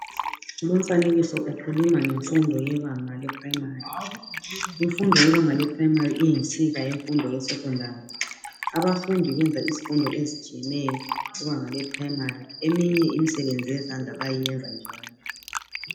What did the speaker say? Lomfanekkso ukhuluma ngemfundo yebanga leprayimari. Imfundo yebanga leprayimari iyinsiba yemfundo yesekhondari. Abafundi benza izifundo ezitshiyeneyo kubanga leprayimari. Eminye imisebenzi yezandla bayayiyenza njalo.